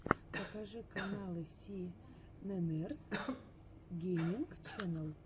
покажи каналы си нэннерс гейминг ченнел